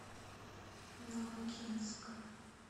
ногинск